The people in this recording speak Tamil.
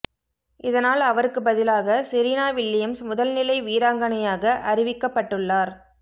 இதனால் அவருக்கு பதிலாக செரீனா வில்லியம்ஸ் முதல்நிலை வீராங்கனையாக அறிவிக்கப்பட்டுள்ளாா்